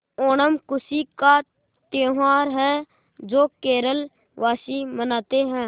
ओणम खुशी का त्यौहार है जो केरल वासी मनाते हैं